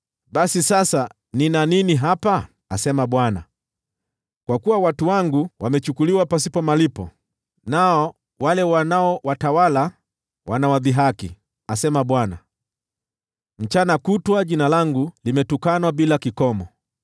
“Basi sasa nina nini hapa?” asema Bwana . “Kwa kuwa watu wangu wamechukuliwa pasipo malipo, nao wale wanaowatawala wanawadhihaki,” asema Bwana . “Mchana kutwa jina langu limetukanwa bila kikomo.